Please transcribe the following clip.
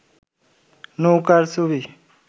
নৌকার ছবি